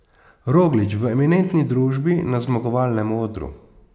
Roglič v eminentni družbi na zmagovalnem odru.